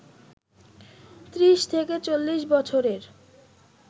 ত্রিশ থেকে চল্লিশ বছরের